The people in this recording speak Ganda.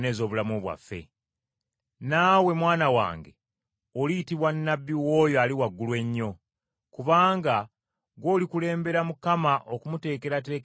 “Naawe, mwana wange, oliyitibwa nnabbi w’Oyo Ali Waggulu Ennyo; kubanga gw’olikulembera Mukama okumuteekerateekera amakubo ge.